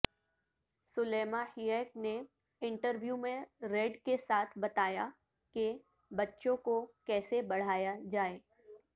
Salima Hayek نے interview میں Red کے ساتھ بتایا کہ بچوں کو کیسے بڑھایا جائے